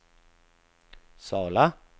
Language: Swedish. Sala